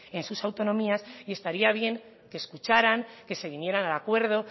en sus autonomías y estaría bien que escucharan que se vinieran al acuerdo